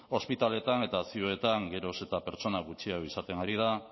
ospitaletan eta ziuetan geroz eta pertsona gutxiago izaten ari da